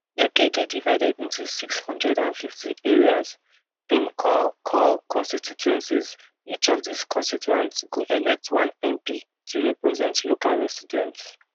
uk dey divided into six hundred and fifty areas dem call call constituencies each of these constituents go elect one mp to represent local residents